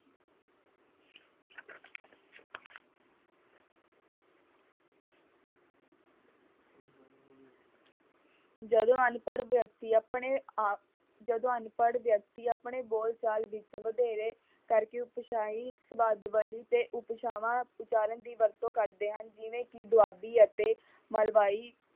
ਜਦੋਂ ਅਨਪੜ੍ਹ ਵਿਅਕਤੀ ਆਪਣੇ ਆਪ ਜਦੋਂ ਅਨਪੜ੍ਹ ਵਿਅਕਤੀ ਆਪਣੇ ਬੋਲਚਾਲ ਵਿੱਚ ਵਧੇਰੇ ਕਰਕੇ ਉਤਸ਼ਾਹੀ ਸਬਦਾਵਲੀ ਤੇ ਉਪਭਾਸ਼ਾਵਾਂ ਉਚਾਰਨ ਦੀ ਵਰਤੋਂ ਕਰਦੇ ਹਨ ਜਿਵੇਂ ਕਿ ਦੁਆਬੀ ਅਤੇ ਮਲਵਈ।